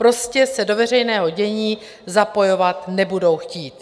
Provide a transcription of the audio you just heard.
Prostě se do veřejného dění zapojovat nebudou chtít.